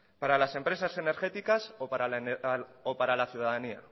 para las empresas energéticas o para la ciudadanía